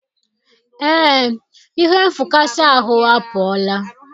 ee, ihe nfụkasị ahụ apụọla.